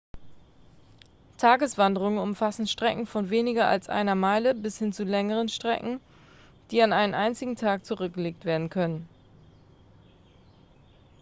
tageswanderungen umfassen strecken von weniger als einer meile bis hin zu längeren strecken die an einem einzigen tag zurückgelegt werden können